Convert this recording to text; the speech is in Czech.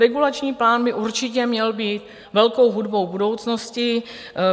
Regulační plán by určitě měl být velkou hudbou budoucnosti.